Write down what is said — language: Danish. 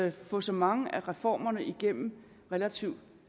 at få så mange af reformerne igennem relativt